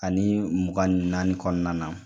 Ani mugan ni naani kɔnɔna na.